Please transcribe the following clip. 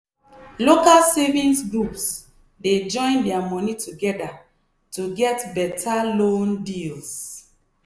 local savings groups dey join their moni together to get better loan deals.